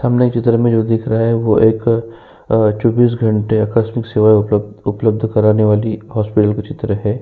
सामने एक चित्र में जो दिख रहा है वो एक अ चौबीस घंटे आकस्मिक सेवाएं उपलब्ध उपलब्ध कराने वाली हॉस्पिटल का चित्र है।